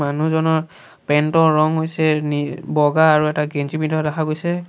মানুহজনৰ পেণ্ট ৰ ৰং হৈছে নি বগা আৰু এটা গেঞ্জী পিন্ধাও দেখা গৈছে।